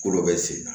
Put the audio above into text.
Kolo bɛ sen na